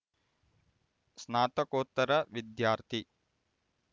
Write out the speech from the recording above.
ಸ್ನಾತಕೋತ್ತರ ವಿದ್ಯಾರ್ಥಿ